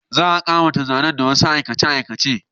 Za a ƙawata zanen da wasu aikace-aikace